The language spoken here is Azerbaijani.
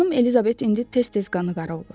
Xanım Elizabet indi tez-tez qanı qara olur.